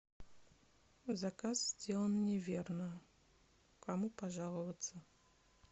заказ сделан неверно кому пожаловаться